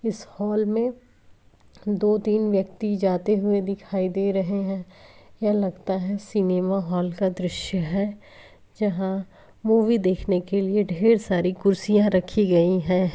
इस हॉल में दो-तीन व्यक्ति जाते हुए दिखाई दे रहे हैं| यह लगता है सिनेमा हॉल का दृश्य है जहां मूवी देखने के लिए ढेर सारी कुर्सियां रखी गई है।